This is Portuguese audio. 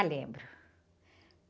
Ah, lembro.